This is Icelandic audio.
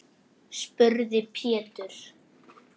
spurði Pétur.